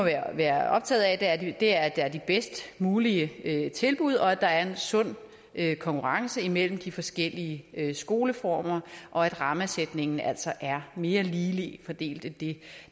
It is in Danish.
være optaget af er at der er de bedst mulige tilbud at der er en sund konkurrence imellem de forskellige skoleformer og at rammesætningen altså er mere ligeligt fordelt end det